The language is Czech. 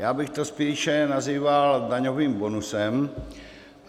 Já bych to spíše nazýval daňovým bonusem.